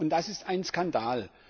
Das ist ein Skandal!